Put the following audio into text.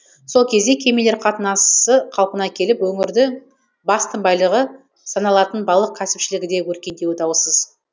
сол кезде кемелер қатынасы қалпына келіп өңірдің басты байлығы саналатын балық кәсіпшілігі де өркендеуі даусыз